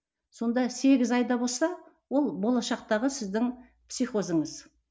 сонда сегіз айда болса ол болашақтағы сіздің психозыңыз